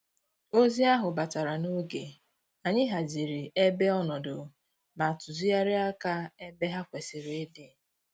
Ozi ahụ batara n'oge, anyị haziri ebe ọnọdụ ma tuzigharịa aka ebe ha kwesịrị ịdị